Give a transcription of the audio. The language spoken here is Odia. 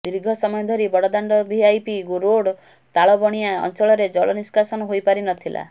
ଦୀର୍ଘ ସମୟ ଧରି ବଡ଼ ଦାଣ୍ଡ ଭିଆଇପି ରୋଡ୍ ତାଳବଣିଆ ଅଞ୍ଚଳରେ ଜଳ ନିଷ୍କାସନ ହୋଇପାରି ନଥିଲା